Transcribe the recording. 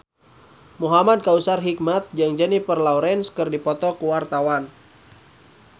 Muhamad Kautsar Hikmat jeung Jennifer Lawrence keur dipoto ku wartawan